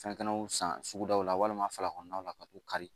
Fɛnkɛnɛw san sugudaw la walima falakuraw la ka t'u kari